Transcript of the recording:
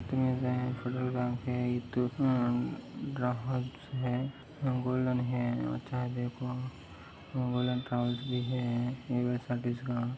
Petrol pump है ग्राहक है इथ गोल्डेन शॉप है।